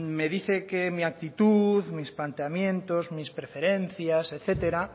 me dice que mi actitud mis planteamientos mis preferencias etcétera